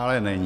Ale není.